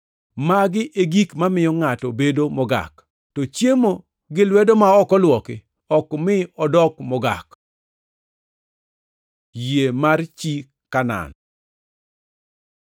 Magi e gik mamiyo ngʼato bedo ‘mogak.’ To chiemo gi lwedo ma ok olwoki ok mi odok ‘mogak.’ ” Yie mar chi Kanaan